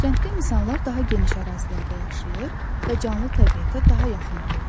Kənddə insanlar daha geniş ərazilərdə yaşayır və canlı təbiətə daha yaxın olurlar.